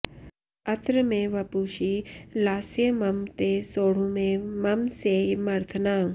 अत्र मे वपुषि लास्यमम्ब ते सोढुमेव मम सेयमर्थना